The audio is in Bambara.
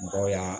Mɔgɔw y'a